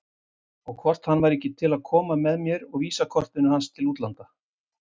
Og hvort hann væri ekki til að koma með mér og VISA-kortinu til útlanda?